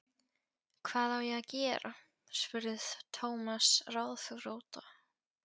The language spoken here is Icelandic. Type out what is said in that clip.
Hvað á ég að gera? spurði Thomas ráðþrota.